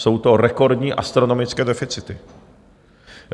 Jsou to rekordní, astronomické deficity.